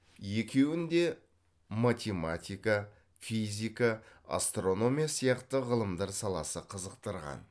екуін де математика физика астрономия сияқты ғылымдар саласы қызықтырған